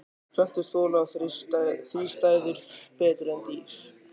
Plöntur þola þrístæður betur en dýr.